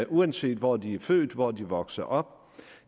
uanset hvor de er født og hvor de er vokset op